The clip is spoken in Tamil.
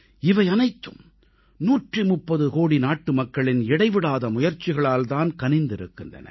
இவை அனைத்தும் 130 கோடி நாட்டுமக்களின் இடைவிடாத முயற்சிகளால் தான் கனிந்திருக்கின்றன